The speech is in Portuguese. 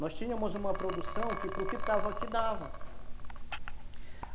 Nós tínhamos uma produção que para o que estava aqui dava.